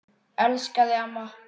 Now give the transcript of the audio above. Elska þig, amma.